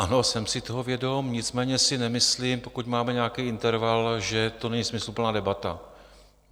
Ano, jsem si toho vědom, nicméně si nemyslím, pokud máme nějaký interval, že to není smysluplná debata.